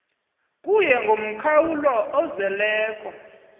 kuye ngomkhawulo ozeleko